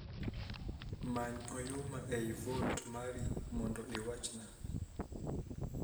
Many oyuma ei vault mari mondo iwachna